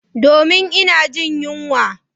Domin ina jin yunwa.